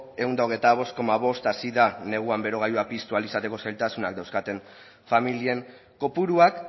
ehun eta hogeita bost koma bost hasi da neguan berogailua piztu ahal izateko zailtasunak dauzkaten familien kopuruak